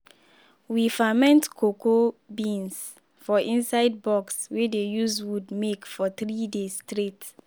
we ferment cocoa beans for inside box wey dey use wood make for three days straight.